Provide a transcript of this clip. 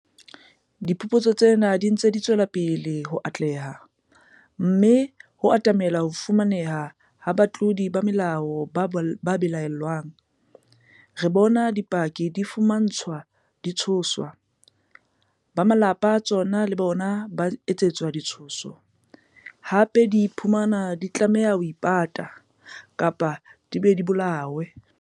Ha diphuputso tsena di ntse di tswela pele ho atleha, mme ho atamelwa ho fumaneheng ha batlodi ba molao ba belaellwang, re bone dipaki di fumantshwa ditshoso, ba malapa a tsona le bona ba etsetswa ditshoso, hape di iphumane di tlameha ho ipata, kapa di be di bolawe.